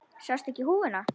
Sástu ekki húfuna?